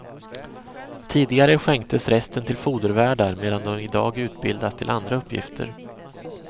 Tidigare skänktes resten till fodervärdar, medan de i dag utbildas till andra uppgifter.